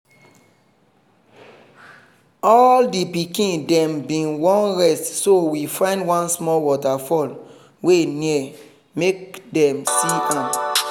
all the pikin dem been wan rest so we find one small waterfall wey near make dem see am.